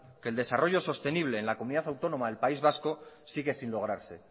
que el desarrollo sostenible en la comunidad autónoma del país vasco sigue sin lograrse